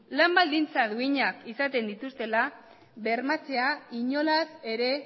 lan baldintza duinak izaten dituztela bermatzea inolaz ere